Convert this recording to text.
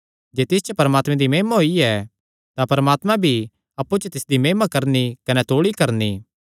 जे तिस च परमात्मे दी महिमा होई ऐ तां परमात्मा भी अप्पु च तिसदी महिमा करणी कने तौल़ी करणी